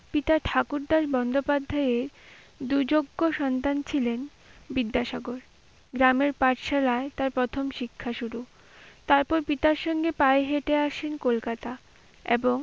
পিতা ঠাকুরদাস বন্দ্যোপাধ্যায় এর দু যোগ্য সন্তান ছিলেন বিদ্যাসাগর। গ্রামের পাঠশালায় তার প্রথম শিক্ষা শুরু। তারপর পিতার সঙ্গে পায়ে হেঁটে আসেন কলকাতা এবং,